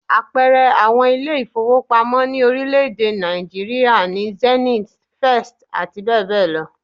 Àpẹẹrẹ àwọn ilé ìfowópamọ́ ní orílẹ̀-èdè Nàìjííríà ni Zenith, First abbl